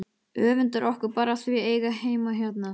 Öfundar okkur bara af því að eiga heima hérna!